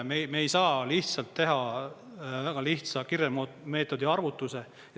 Me ei saa lihtsalt teha väga lihtsa …meetodi arvutuse.